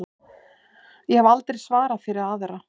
Ég hef aldrei svarað fyrir aðra.